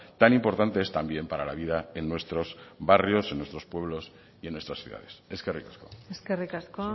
tan importante es también para la vida en nuestros barrios en nuestros pueblos y en nuestras ciudades eskerrik asko eskerrik asko